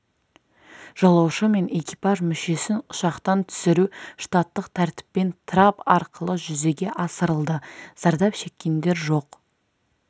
жолаушы мен экипаж мүшесін ұшақтан түсіру штаттық тәртіппен трап арқылы жүзеге асырылды зардап шеккендер жоқ